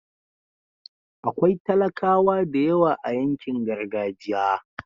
akwai talakawa da yawa a yankin gargajiya